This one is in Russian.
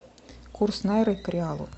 курс найры к реалу